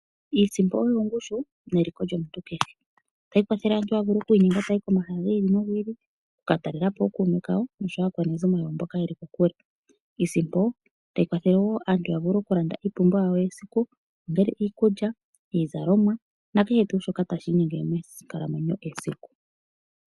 Iisimpo oyo ongushu neliko lyomuntu keshe. Otayi kwathele aantu yavule oku inyenga ta yahi komahala gi ili nogi ili, oku katalela po ookuume kawo noshowo aakwanezimo yawo mboka yeli kokule. Iisimpo tayi kwathele wo aantu ya vule oku landa iipumbiwa yawo yesiku ongele iikulya, iizalomwa na kehe tuu shoka tashi inyenge mee nkalamwenyo yesiku.